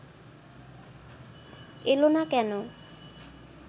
এল না কেন